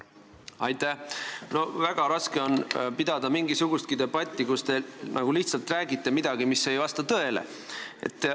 No väga raske on pidada mingisugustki debatti, kui te lihtsalt räägite midagi, mis ei vasta tõele.